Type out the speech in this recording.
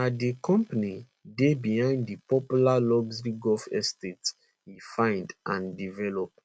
na di company dey behind di popular luxury golf estate e find and develop